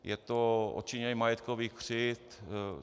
Je to odčinění majetkových křivd.